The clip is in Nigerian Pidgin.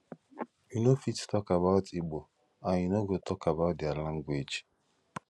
you no fit talk about igbo and you no go talk about dia language